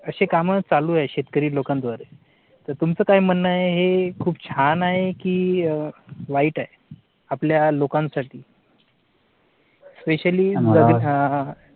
असे काम चालू आहे. शेतकरी लोकांद्वारे तर तुमचं काय म्हणणं आहे? हे खूप छान आहे की अह वाईट आहे आपल्या लोकांसाठी. specially जर अं